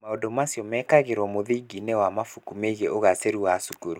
Maũndũ macio mekagĩrũo mũthingi-inĩ wa mabuku megiĩ ũgaacĩru wa cukuru.